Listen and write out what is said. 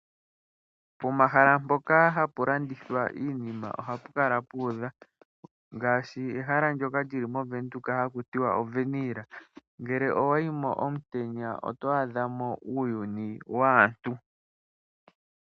Pomahala mpoka hapu landithwa ohapu kala puudha ngaashi ehala ndyoka li li movenduka haku tiwa oWernil nele owayi mo omutenya oto adha mo uuyuni waantu.